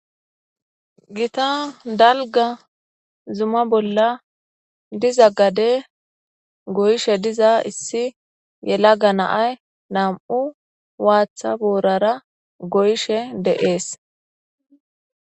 Gita dalga zuma bolla diza gade goyishe diza issi yela ga naay nam'u waatha boorara goyishe deees.